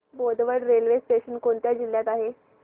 Bodwad railway station कोणत्या जिल्ह्यात आहे